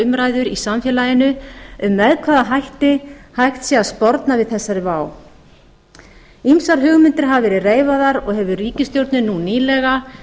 umræður í samfélaginu um með hvaða hætti hægt sé að sporna við þessari vá ýmsar hugmyndir hafa verið reifaðar og hefur ríkisstjórnin nú nýlega